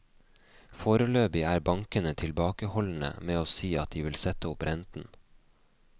Foreløpig er bankene tilbakeholdne med å si at de vil sette opp renten.